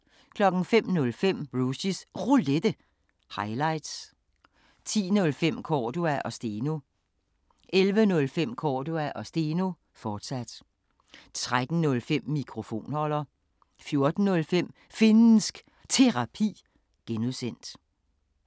05:05: Rushys Roulette – highlights 10:05: Cordua & Steno 11:05: Cordua & Steno, fortsat 13:05: Mikrofonholder 14:05: Finnsk Terapi (G)